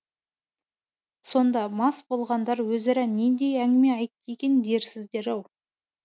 сонда мас болғандар өзара нендей әңгіме айтты екен дерсіздер ау